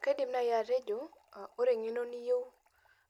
Kaidim nai atejo, ore eng'eno niyieu